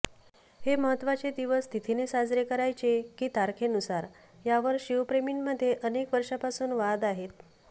हे महत्त्वाचे दिवस तिथीने साजरे करायचे की तारखेनुसार यावर शिवप्रेमींमध्ये अनेक वर्षांपासून वाद आहेत